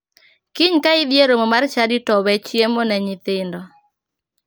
Kiny ka idhi e romo mar chadi to we chiemo ne nyithindo.